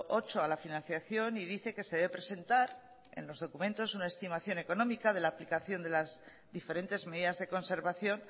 ocho a la financiación y dice que se debe presentar en los documentos una estimación económica de la aplicación de las diferentes medidas de conservación